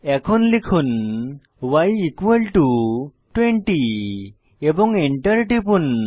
এখন লিখুন y 20 এবং এন্টার টিপুন